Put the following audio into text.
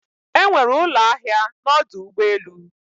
Enwere ụlọ ahịa na ọdụ ụgbọ elu